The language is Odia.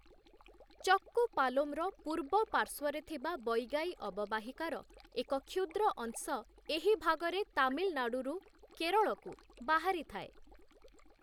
ଚକ୍କୁପାଲୋମର ପୂର୍ବ ପାର୍ଶ୍ୱରେ ଥିବା ବୈଗାଇ ଅବବାହିକାର, ଏକ କ୍ଷୁଦ୍ର ଅଂଶ ଏହି ଭାଗରେ ତାମିଲନାଡ଼ୁରୁ କେରଳକୁ ବାହାରିଥାଏ ।